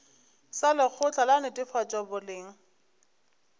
sa lekgotla la netefatšo boleng